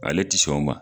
Ale tɛ sɔn o ma